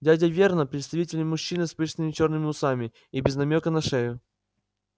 дядя вернон представительный мужчина с пышными чёрными усами и без намёка на шею